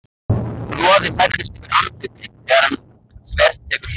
Roði færist yfir andlitið þegar hann þvertekur fyrir það.